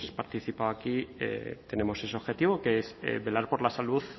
participado aquí tenemos ese objetivo que es velar por la salud